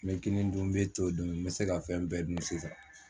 N bɛ kinin dun, n bɛ to dun, n bɛ se ka fɛn bɛɛ dun sisan.